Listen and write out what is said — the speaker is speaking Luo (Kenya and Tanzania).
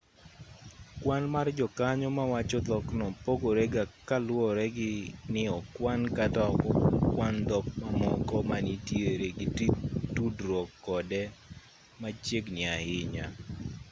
kwan mar jokanyo mawacho dhokno pogore ga kaluwore ni okwan kata ok okwan dhok mamoko ma nitiere gi tudruok kode machiegni ahinya